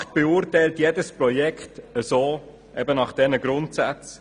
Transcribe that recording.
Die BaK beurteilt jedes Projekt nach diesen Grundsätzen.